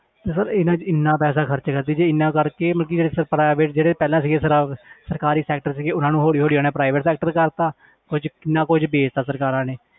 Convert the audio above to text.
ਤੇ sir ਇਹਨਾਂ 'ਚ ਇੰਨਾ ਪੈਸਾ ਖ਼ਰਚ ਕਰਦੀ ਜੇ ਇੰਨਾ ਕਰਕੇ ਮਤਲਬ ਕਿ ਜਿਹੜੇ private ਜਿਹੜੇ ਪਹਿਲਾਂ ਸੀਗੇ ਸਰ~ ਸਰਕਾਰੀ sector ਸੀਗੇ ਉਹਨਾਂ ਨੂੰ ਹੌਲੀ ਹੌਲੀ ਹੁਣ private sector ਕਰ ਦਿੱਤਾ ਕੁੱਝ ਕਿੰਨਾ ਕੁੱਝ ਵੇਚ ਦਿੱਤਾ ਸਰਕਾਰਾਂ ਨੇ